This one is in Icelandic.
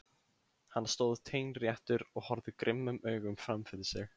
Hann stóð teinréttur og horfði grimmum augum fram fyrir sig.